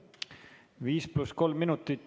Viis pluss kolm minutit.